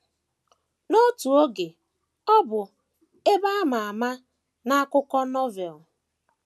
N’otu oge ọ bụ ebe a ma ama n’akụkọ Novel.